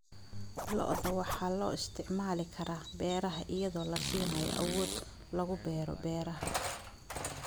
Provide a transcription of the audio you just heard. Lo'da waxaa loo isticmaali karaa beeraha iyadoo la siinayo awood lagu beero beeraha.